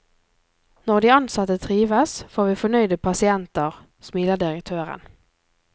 Når de ansatte trives, får vi fornøyde pasienter, smiler direktøren.